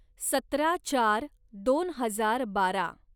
सतरा चार दोन हजार बारा